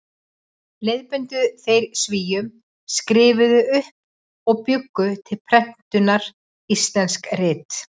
Leiðbeindu þeir Svíum, skrifuðu upp og bjuggu til prentunar íslensk rit.